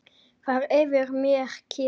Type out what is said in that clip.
Það er yfir mér kyrrð.